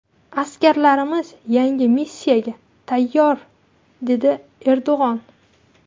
Askarlarimiz yangi missiyaga tayyor”, dedi Erdo‘g‘on.